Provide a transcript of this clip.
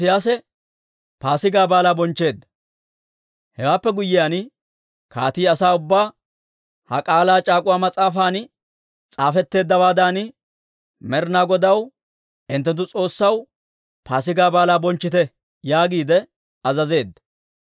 Hewaappe guyyiyaan, kaatii asaa ubbaa, «Ha K'aalaa c'aak'uwa mas'aafan s'aafetteeddawaadan Med'ina Godaw hinttenttu S'oossaw Paasigaa Baalaa bonchchite» yaagiide azazeedda.